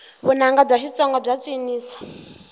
vunanga bya xitsonga bya cinisa